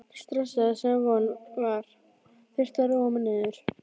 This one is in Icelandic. stressaður, sem von var, þurfti að róa mig niður.